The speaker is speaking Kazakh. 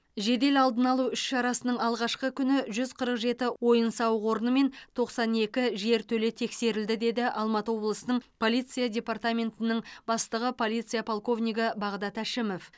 жедел алдын алу іс шарасының алғашқы күні жүз қырық жеті ойын сауық орны мен тоқсан екі жертөле тексерілді деді алматы облысының полиция департаментінің бастығы полиция полковнигі бағдат әшімов